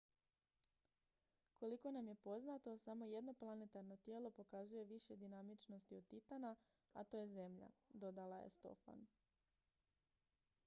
koliko nam je poznato samo jedno planetarno tijelo pokazuje više dinamičnosti od titana a to je zemlja dodala je stofan